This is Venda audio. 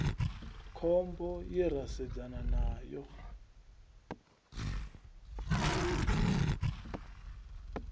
khombo ye ra sedzana nayo